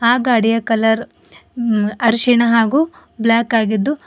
ಆ ಗಾಡಿಯ ಕಲರ್ ಅರಿಶಿಣ ಹಾಗೂ ಬ್ಲಾಕ್ ಆಗಿದ್ದು--